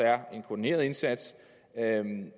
er en koordineret indsats